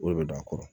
O de bɛ don a kɔrɔ